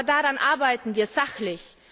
Aber daran arbeiten wir sachlich.